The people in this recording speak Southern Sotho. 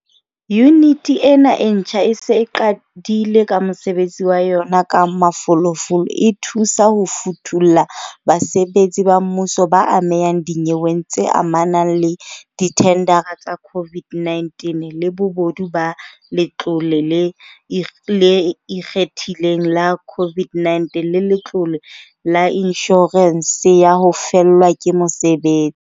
Yuniti ena e ntjha e se e qadile ka mosebetsi wa yona ka mafolofolo, e thusa ho futulla basebetsi ba mmuso ba amehang dinyeweng tse amanang le dithendara tsa COVID-19, le bobodu ba Letlole le ikgethileng la COVID-19 le Letlole la Inshorense ya ho Fellwa ke Mosebe.